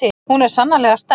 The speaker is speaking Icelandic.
Hún er sannarlega sterk.